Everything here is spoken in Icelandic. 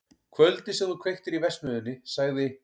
Kvöldið sem þú kveiktir í verksmiðjunni- sagði